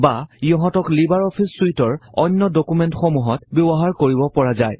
বা ইহঁতক লিবাৰ অফিচ চুইটৰ অন্য ডকুমেন্টসমূহত ব্যৱহাৰ কৰিব পৰা যায়